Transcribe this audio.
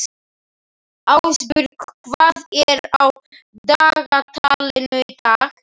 Ásborg, hvað er á dagatalinu í dag?